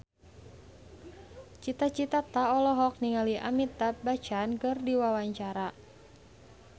Cita Citata olohok ningali Amitabh Bachchan keur diwawancara